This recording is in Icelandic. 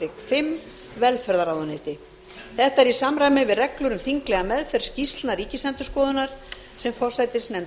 fimm velferðarráðuneyti þetta er í samræmi við reglur um þinglega meðferð skýrslna ríkisendurskoðunar sem forsætisnefnd